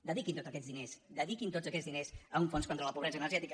dediquin tots aquests diners dediquin tots aquests diners a un fons contra la pobresa energètica